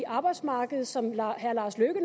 arbejdsmarkedet som herre lars løkke